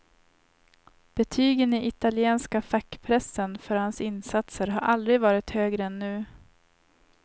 Betygen i italienska fackpressen för hans insatser har aldrig varit högre än nu.